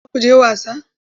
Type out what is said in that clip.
Za ku je wasa?